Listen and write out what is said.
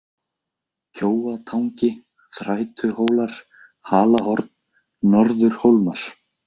Kjóatangi, Þrætuhólmar, Halahorn, Norðurhólmar